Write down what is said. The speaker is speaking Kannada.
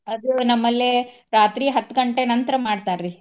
ಅದು ನಮ್ಮ್ ಲ್ಲೇ ರಾತ್ರಿ ಹತ್ತ ಗಂಟೆ ನಂತರ ಮಾಡ್ತಾರಿ.